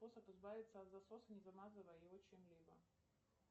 способ избавиться от засоса не замазывая его чем либо